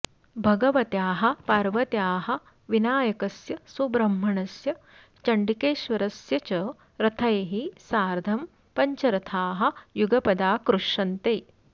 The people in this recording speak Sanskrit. भगवत्याः पार्वत्याः विनायकस्य सुब्रह्मण्यस्य चण्डिकेश्वरस्य च रथैः सार्धं पञ्चरथाः युगपदाकृ ष्यन्ते